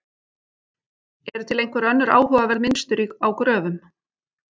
Eru til einhver önnur áhugaverð mynstur á gröfum?